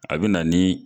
A bɛ na ni